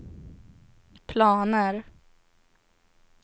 planer